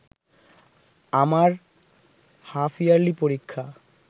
আমার হাফইয়ার্লি পরীক্ষা